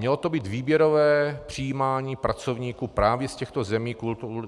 Mělo to být výběrové přijímání pracovníků právě z těchto zemí